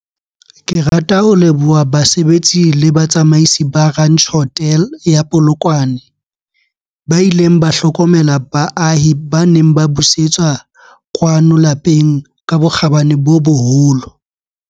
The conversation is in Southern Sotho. Ke rata ho leboha basebetsi le batsamaisi ba Ranch Hotel ya Polokwane, ba ileng ba hlokomela baahi ba neng ba busetswa kwano lapeng ka bokgabane bo boholo.